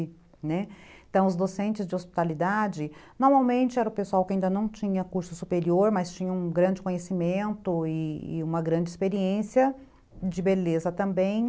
Então os docentes de hospitalidade, normalmente era o pessoal que ainda não tinha curso superior, mas tinha um grande conhecimento e e uma grande experiência de beleza também.